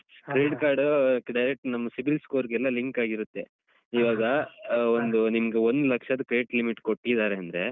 Credit Card uh direct ನಮ್ಮ cibil scores ಗೆಲ್ಲಾ link ಆಗಿರುತ್ತೆ ಇವಾಗ ಅಹ್ ಒಂದು ನಿಮ್ಗೆ ಒಂದು ಲಕ್ಷದ credit limit ಕೊಟ್ಟಿದ್ದಾರೆ ಅಂದ್ರೆ.